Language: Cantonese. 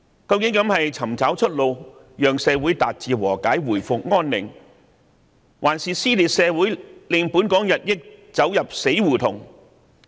究竟這是尋找出路，讓社會達致和解、回復安寧，抑或是撕裂社會，令香港進一步走入死胡同？